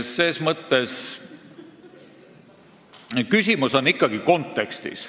Ses mõttes on küsimus ikkagi kontekstis.